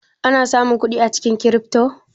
Ana samun kudi da cinikin kirifto?